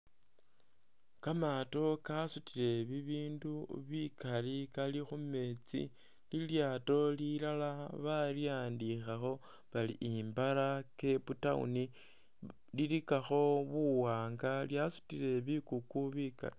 Kamaato kasutile bibindu bikali kali khumeetsi ilyaato lilala balikhandikhakho bari "Imbala cape town" lilikakho buwanga lyasutile bikuku bikali.